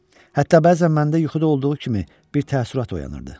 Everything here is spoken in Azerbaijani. Hətta bəzən məndə yuxuda olduğu kimi bir təəssürat oyanırdı.